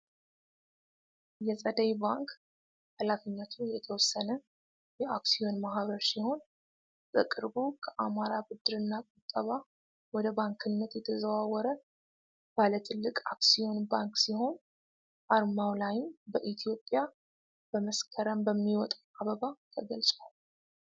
የጸደይ ባንክ ሃላፊነቱ የተወሰነ የአክሲዮን ማህበር ሲሆን በቅርቡ ከአማራ ብድርና ቁጠባ ወደ ባንክነት የተዘዋወረ ባለ ትልቅ አክሲዮን ባንክ ሲሆን አርማው ላይም በኢትዮጵያ በመስከረም በሚወጣው አበባ ተገልጿል።